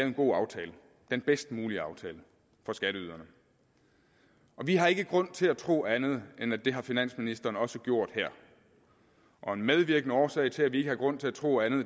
en god aftale den bedst mulige aftale for skatteyderne og vi har ikke grund til at tro andet end at det har finansministeren også gjort her og en medvirkende årsag til at vi ikke har grund til at tro andet